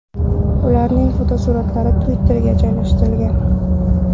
Ularning fotosuratlari Twitter’ga joylashtirilgan.